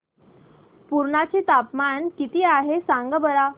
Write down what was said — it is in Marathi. पुर्णा चे तापमान किती आहे सांगा बरं